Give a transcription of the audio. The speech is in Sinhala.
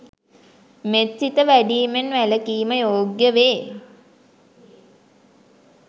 මෙත්සිත වැඩීමෙන් වැලකීම යෝග්‍ය වේ.